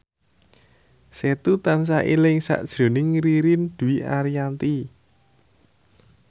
Setu tansah eling sakjroning Ririn Dwi Ariyanti